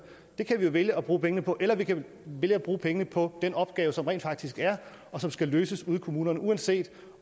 det kan vi jo vælge at bruge pengene på eller vi kan vælge at bruge pengene på den opgave som rent faktisk er og som skal løses ude i kommunerne uanset